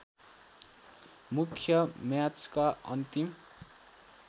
मुख्य म्याचका अन्तिम